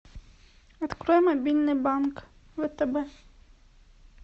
открой мобильный банк втб